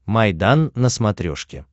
майдан на смотрешке